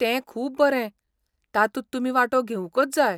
तें खूब बरें, तातूंत तुमी वांटो घेवंकच जाय.